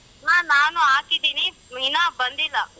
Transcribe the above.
ಹ ನಾನು ಹಾಕಿದಿನಿ ಇನ್ನ ಬಂದಿಲ್ಲ.